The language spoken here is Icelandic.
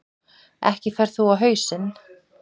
Ekki ferð þú á hausinn.